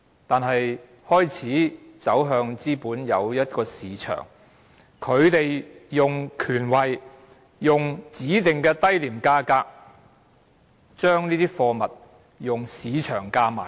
中國開始走向資本主義便有一個市場，官員利用權位以指定的低廉價格買入貨物，再用市場價售出。